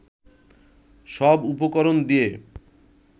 সব উপকরণ দিয়ে